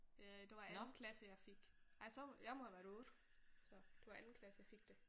Øh det var i anden klasse jeg fik ej så jeg må have været 8 så. Det var anden klasse jeg fik det